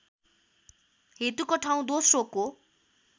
हेतुको ठाउँ दोस्रोको